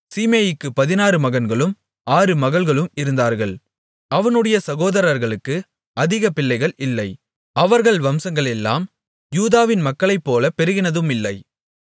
சீமேயிக்குப் பதினாறு மகன்களும் ஆறு மகள்களும் இருந்தார்கள் அவனுடைய சகோதரர்களுக்கு அதிக பிள்ளைகள் இல்லை அவர்கள் வம்சங்களெல்லாம் யூதாவின் மக்களைப்போலப் பெருகினதுமில்லை